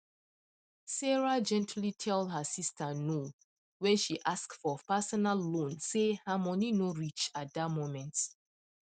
sarah gently tell her sister no when she ask for personal loan say her money no reach at the moment